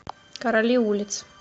короли улиц